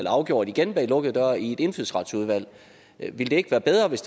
afgjort igen bag lukkede døre i indfødsretsudvalget ville det ikke være bedre hvis